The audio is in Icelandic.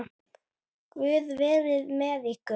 Guð veri með ykkur.